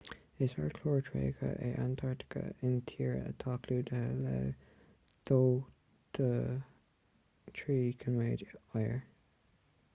is ardchlár tréigthe é antartaice intíre atá clúdaithe le 2-3 km oighir